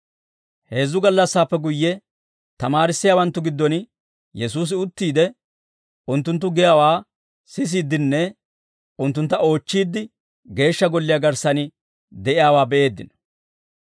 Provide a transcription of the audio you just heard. Heezzu gallassaappe guyye, tamaarissiyaawanttu giddon Yesuusi uttiide unttunttu giyaawaa sisiiddenne unttuntta oochchiidde Geeshsha Golliyaa garssan de'iyaawaa be'eeddino.